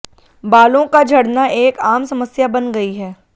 बालों का झडना एक आम समस्या बन गई है